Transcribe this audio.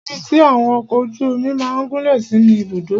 Ibi tí àwọn ọkọ ojú omi máà gúnlẹ̀ sí ni Ibùdó.